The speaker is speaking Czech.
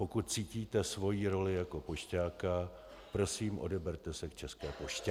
Pokud cítíte svoji roli jako pošťáka, prosím, odeberte se k České poště.